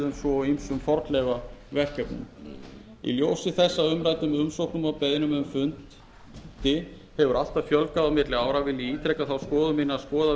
bátafriðun svo og ýmsum fornleifaverkefnum í ljósi þess að umræddum umsóknum og beiðnum um fund hefur alltaf fjölgað á milli ára vil ég ítreka þá skoðun mína að skoða verði í heild